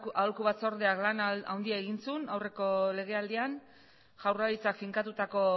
euskal aholku batzordeak lan handia egin zuen aurreko legealdian jaurlaritzak finkatutako